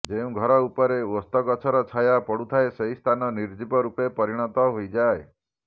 ଯେଉଁ ଘର ଉପରେ ଓସ୍ତ ଗଛର ଛାୟା ପଡୁଥାଏ ସେହି ସ୍ଥାନ ନିର୍ଜୀବ ରୂପେ ପରିଣତ ହୋଇଯାଏ